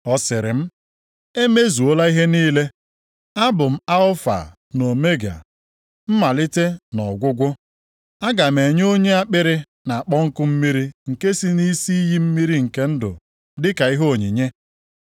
Ọ sịrị m, “E mezuola ihe niile. Abụ m Alfa na Omega, Mmalite na Ọgwụgwụ. Aga m enye onye akpịrị na-akpọ nkụ mmiri nke si nʼisi iyi mmiri nke ndụ dịka ihe onyinye.